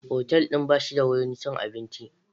Otal ɗin ba shi da wurin cin abinci.